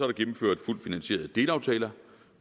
gennemført fuldt finansierede delaftaler